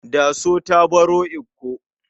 Daso ta baro Ikko.